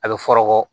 A bɛ fɔɔrɔ kɔ